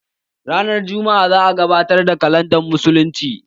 Ranar jumma'a za a gabatar da kalandar musuluncin